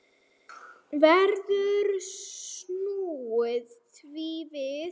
Gerður hafði snúið því við.